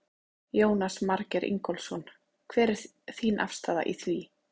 Jónas Margeir Ingólfsson: Hver er þín afstaða í því?